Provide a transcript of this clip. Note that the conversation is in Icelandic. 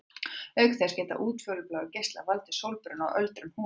Auk þess geta útfjólubláir geislar valdið sólbruna og öldrun húðarinnar.